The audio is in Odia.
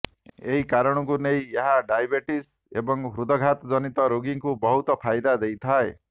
ଏହି କାରଣକୁ ନେଇ ଏହା ଡ଼ାଇବେଟିସ୍ ଏବଂ ହୃଦ୍ଘାତ ଜନିତ ରୋଗୀଙ୍କୁ ବହୁତ ଫାଇଦା ଦେଇଥାଏ